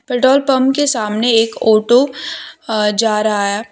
Petrol pump के सामने एक ऑटो अ जा रहा है।